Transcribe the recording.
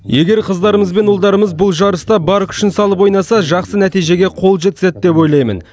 егер қыздарымыз бен ұлдарымыз бұл жарыста бар күшін салып ойнаса жақсы нәтижеге қол жеткізеді деп ойлаймын